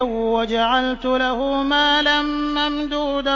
وَجَعَلْتُ لَهُ مَالًا مَّمْدُودًا